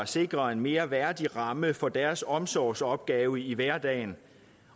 sikre en mere værdig ramme for deres omsorgsopgave i hverdagen